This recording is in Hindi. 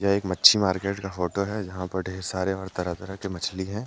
एक मच्छी मार्केट का फोटो है यहां पर ढेर सारे तरह तरह के मछली है।